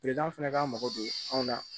fana k'a mago don anw na